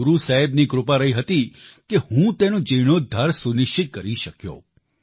એ ગુરુ સાહેબની કૃપા રહી હતી કે હું તેનો જીણોદ્ધાર સુનિશ્ચિત કરી શક્યો